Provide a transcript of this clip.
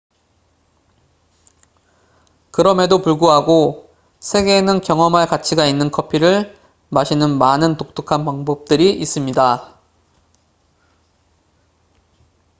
그럼에도 불구하고 세계에는 경험할 가치가 있는 커피를 마시는 많은 독특한 방법들이 있습니다